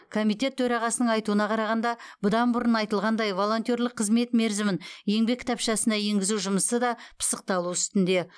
комитет төрағасының айтуына қарағанда бұдан бұрын айтылғандай волонтерлік қызмет мерзімін еңбек кітапшасына енгізу жұмысы да пысықталу үстінде